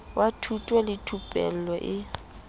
wa thuto le thupello e